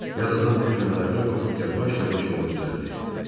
Yad adam güclə ayağa qalxıb yavaş-yavaş yola düzəldi.